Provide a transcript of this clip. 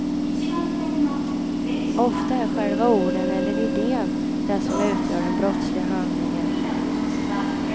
Ofta är själva orden, eller idén, det som utgör den brottsliga handlingen.